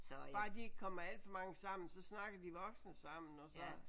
Bare de ikke kommer alt for mange sammen så snakker de voksne sammen og så